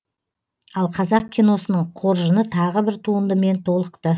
ал қазақ киносының қоржыны тағы бір туындымен толықты